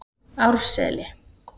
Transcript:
Árseli